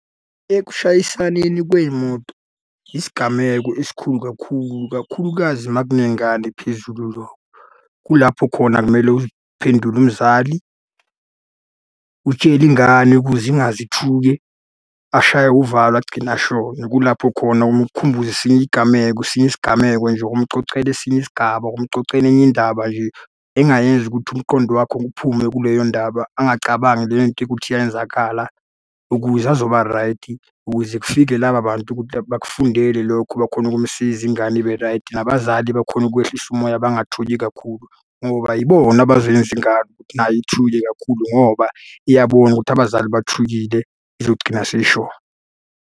Ekushayisaneni kwey'moto, yisigameko esikhulu kakhulu, kakhulukazi uma kunengane phezulu lokho. Kulapho khona kumele uziphendule umzali, utshele ingane ukuze ingaze ithuke, ashaywe uvalo, agcina eshona. Kulapho khona umukhumbuze esinye iy'gameko esinye isigameko nje ukumucocela esinye isigaba, ukumucocela enye indaba nje. Engayenza ukuthi umqondo wakho uphume kuleyo ndaba, angacabangi leyo nto ukuthi yayenzakhala, ukuze azoba raydi, ukuze kufike laba bantu ukuthi bakufundele lokho bakhone ukumsiza ingane ibe raydi. Nabazali bakhone ukwehlisa umoya bangathuki kakhulu, ngoba yibona abazoyenza ingane ukuthi nayo ithuke kakhulu ngoba iyabona ukuthi abazali bathukile izogcina seyishona.